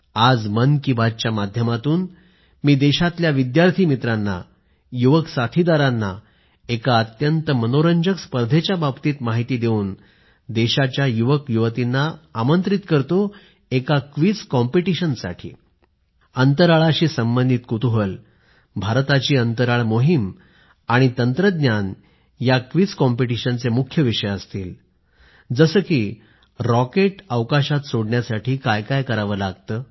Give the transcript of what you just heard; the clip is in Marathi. आज मन की बातच्या माध्यमातून मी देशातल्या विद्यार्थी मित्रांना युवक साथीदारांना एका अत्यंत मनोरंजक स्पर्धेच्या बाबत माहिती देऊन देशाच्या युवक आणि युवतींना निमंत्रित करतोएक क्विझ कॉम्पिटीशन अंतराळाशी संबंधित कुतूहल भारताची अंतराळ मोहीम आणि तंत्रज्ञानया क्विझ कॉम्पिटीशनचे मुख्य विषय असतील जसे की रॉकेट अवकाशात सोडण्यासाठी काय काय करावं लागतं